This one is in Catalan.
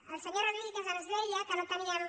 el senyor rodríguez ens deia que no tenien